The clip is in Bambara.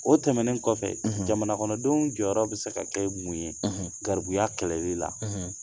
O tɛmɛnen kɔfɛ jamanakɔnɔdenw jɔyɔrɔ bi se ka kɛ mun ye garibuya kɛlɛli la ?